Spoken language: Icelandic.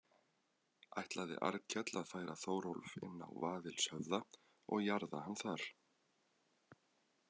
Ætlaði Arnkell að færa Þórólf inn á Vaðilshöfða og jarða hann þar.